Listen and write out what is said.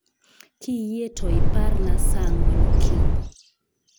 Kiyie to iparna saa ang'wen okinyi